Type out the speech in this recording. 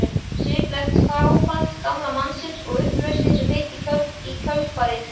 Sviplegt fráfall gamla mannsins og upplausnin sem fylgdi í kjölfarið.